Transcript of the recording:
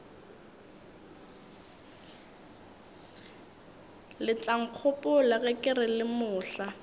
letlankgopola ke re le mohla